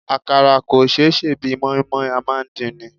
Àkàrà kò ṣé sè bí i mọ́í-mọ́í, a máa ń dín ni.